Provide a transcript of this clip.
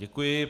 Děkuji.